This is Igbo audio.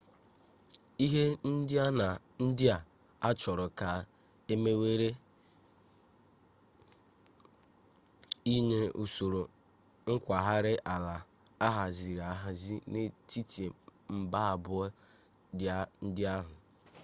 ihe ndị a achọrọ ka e mewere inye usoro nkwagharị ala ahaziri ahazi n'etiti mba abụọ ndị ahụ